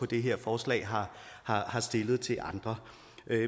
det her forslag har har stillet til andre